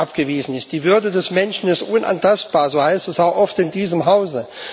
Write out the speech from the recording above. angewiesen sein. Die Würde des Menschen ist unantastbar so heißt es auch oft in diesem Hause.